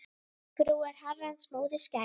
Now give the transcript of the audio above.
Frú er Herrans móðir skær.